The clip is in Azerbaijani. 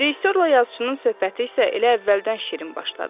Rejissorla yazıçının söhbəti isə elə əvvəldən şirin başladı.